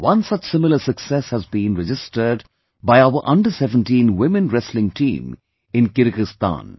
One such similar success has been registered by our Under Seventeen Women Wrestling Team in Kyrgyzstan